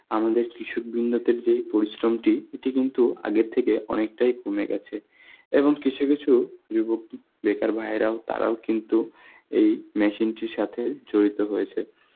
আমাদের কৃষক বৃন্দদের যেই পরিশ্রমটি এতে কিন্তু আগের থেকে অনেকটাই কমে গেছে. এবং কিছু কিছু যুবক, উম বেকার ভাইয়েরাও, তারাও কিন্তু এই machine টির সাথে জড়িত হয়েছে.